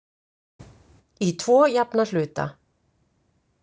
Í tvo jafna hluta.